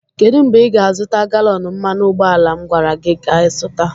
kedụ mgbe ị ga-azụta galọn mmanụ ụgbọala m gwara gị ka zụta?